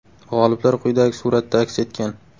G‘oliblar quyidagi suratda aks etgan.